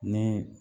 Ni